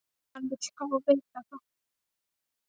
Hann vill fá að vita það.